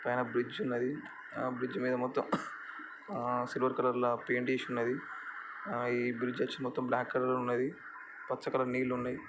పైన బ్రిడ్జ్ ఉన్నదిఆ బ్రిడ్జ్ మీద మొత్తం సిల్వర్ కలర్ ల పేంట్ ఏసీ ఉన్నదిఆ ఈ బ్రిడ్జ్ అచ్చి మొత్తం బ్లాక్ కలర్ ఏ ఉన్నదిపచ్చ కలర్ నీళ్లున్నయ్.